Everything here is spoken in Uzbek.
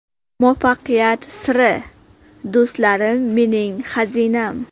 Muvaffaqiyat siri: Do‘stlarim mening xazinam.